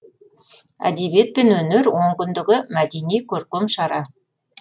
әдебиет пен өнер онкүндігі мәдени көркем шара